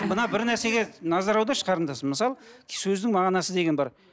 мына бір нәрсеге назар аударшы қарындасым мысалы сөздің мағынасы деген бар